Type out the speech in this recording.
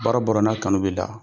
Baara o baara n'a kanu b'i la,